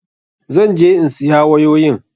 Zan je in siya wayoyin.